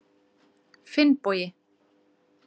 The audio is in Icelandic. Finnbogi